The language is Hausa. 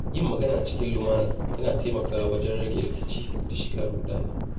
Yin magana cikin lumana yana taimakawa wajen rage rikici da shiga ruɗani.